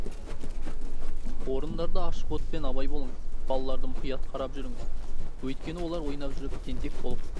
орындарда ашық отпен абай болыңыз балаларды мұқият қарап жүріңіз өйткені олар ойнап жүріп тентек болып